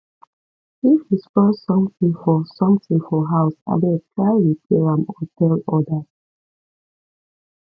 if you spoil something for something for house abeg try repair am or tell others